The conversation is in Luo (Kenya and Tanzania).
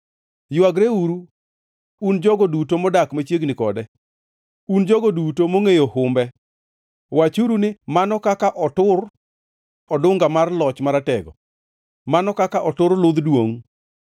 Ywageuru, un jogo duto modak machiegni kode, un jogo duto mongʼeyo humbe; wachuru ni, ‘Mano kaka otur odunga mar loch maratego, mano kaka otur ludh duongʼ!’